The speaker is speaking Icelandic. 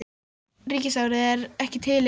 Norska ríkisráðið er ekki til lengur!